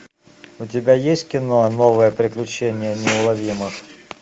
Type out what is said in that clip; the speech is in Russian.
у тебя есть кино новые приключения неуловимых